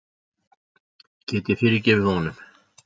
Get ég fyrirgefið honum?